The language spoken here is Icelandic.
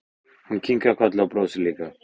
Hún kinkar kolli og brosir líka.